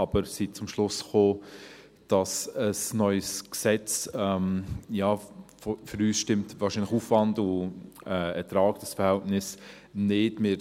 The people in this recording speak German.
Aber wir sind zum Schluss gekommen, dass für ein neues Gesetz das Aufwand-Ertrag-Verhältnis nicht stimmt.